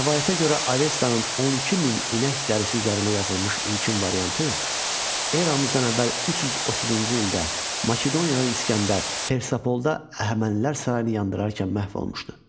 Rəvayətə görə Avestanın 12 min inək dərisi üzərində yazılmış ilkin variantı eramızdan əvvəl 330-cu ildə Makedoniyalı İsgəndər Persapolda Əhəmənilər sarayını yandırarkən məhv olmuşdu.